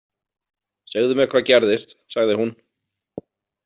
Segðu mér hvað gerðist, sagði hún.